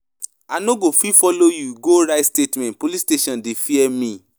I no go fit follow you go write statement, police station dey fear me.